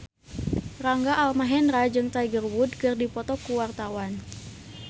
Rangga Almahendra jeung Tiger Wood keur dipoto ku wartawan